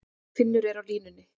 Finnur er á línunni.